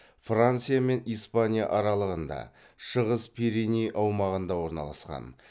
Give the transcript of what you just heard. франция мен испания аралығында шығыс пиреней аумағында орналасқан